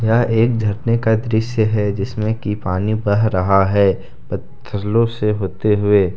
यह एक झरने का दृश्य है जिसमे की पानी बह रहा है पत्थरलो से होते हुए।